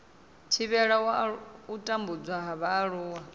thivhela u tambudzwa ha vhaaluwa